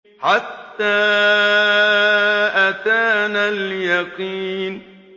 حَتَّىٰ أَتَانَا الْيَقِينُ